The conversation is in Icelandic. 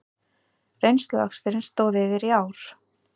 Reynsluaksturinn stóð yfir í ár